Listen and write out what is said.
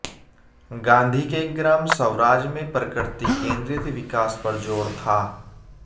गांधी के ग्राम स्वराज में प्रकृति केंद्रित विकास पर जोर था